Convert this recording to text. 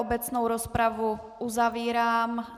Obecnou rozpravu uzavírám.